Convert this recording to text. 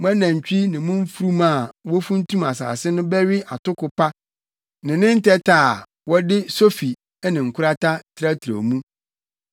Mo anantwi ne mo mfurum a wofuntum asase no bɛwe atoko pa ne ne ntɛtɛ a, wɔde sofi ne nkorata trɛtrɛw mu.